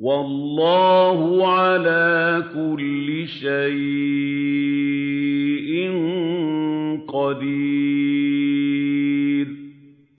وَاللَّهُ عَلَىٰ كُلِّ شَيْءٍ قَدِيرٌ